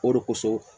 O de kosɔn